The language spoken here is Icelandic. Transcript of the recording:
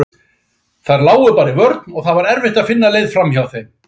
Þær lágu bara í vörn og það var erfitt að finna leið framhjá þeim.